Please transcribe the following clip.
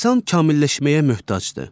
İnsan kamilləşməyə möhtacdır.